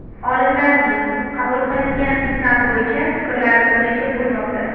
Olimlarning qabul qilingan signal bo‘yicha fikrlari turlicha bo‘lmoqda.